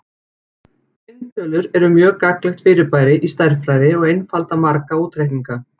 Tvinntölur eru mjög gagnlegt fyrirbæri í stærðfræði og einfalda marga útreikninga.